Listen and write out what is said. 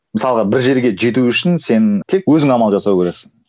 мысалға бір жерге жету үшін сен тек өзің амал жасау керексің